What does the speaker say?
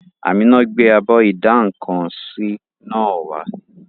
Àmíná gbé abọ́ ìdá-nǹkan-sí náà wá